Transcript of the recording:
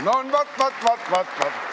No vaat-vaat.